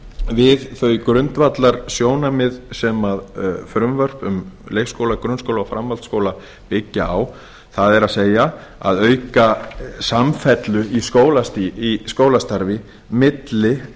við þau grundvallarsjónarmið sem frumvörp um leikskóla grunnskóla og framhaldsskóla byggja á það er að auka samfellu í skólastarfi milli